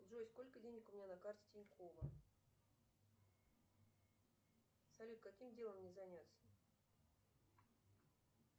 джой сколько денег у меня на карте тинькова салют каким делом мне заняться